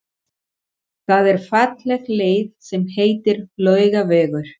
Það er falleg leið sem heitir Laugavegur.